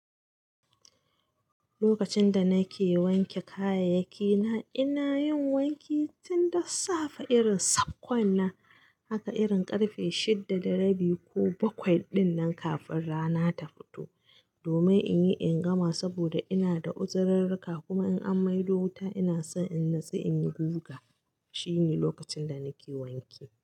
Lokacin da nake wanke kayayyakina, ina yin wanki tun da safe irin sakwkwannan, haka irin karfe shida da rabi ko bakwai din nan kafin rana ta fito. Domin in yi in gama saboda ina da uzirrrika kuma in an maido wuta ina so in natsu in yi guga. Shi ne lokacin da nake wanki.